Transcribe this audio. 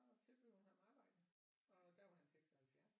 Tilbød hun ham arbejde og der var en 76